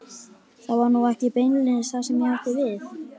Það var nú ekki beinlínis það sem ég átti við.